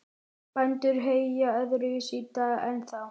Bændur heyja öðruvísi í dag en þá.